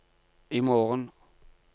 imorgen